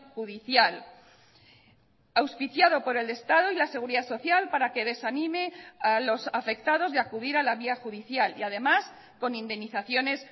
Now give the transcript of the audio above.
judicial auspiciado por el estado y la seguridad social para que desanime a los afectados de acudir a la vía judicial y además con indemnizaciones